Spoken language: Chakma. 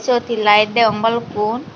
obot he light degong balokun.